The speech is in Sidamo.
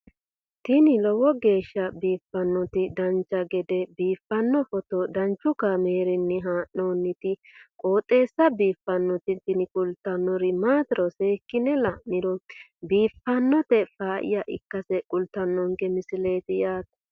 tini lowo geeshsha biiffannoti dancha gede biiffanno footo danchu kaameerinni haa'noonniti qooxeessa biiffannoti tini kultannori maatiro seekkine la'niro biiffannota faayya ikkase kultannoke misileeti yaate